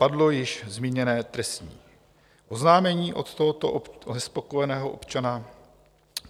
Padlo již zmíněné trestní oznámení od tohoto nespokojeného občana.